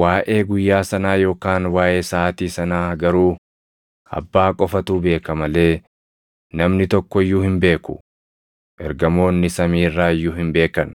“Waaʼee guyyaa sanaa yookaan waaʼee saʼaatii sanaa garuu Abbaa qofatu beeka malee namni tokko iyyuu hin beeku; ergamoonni samii irraa iyyuu hin beekan;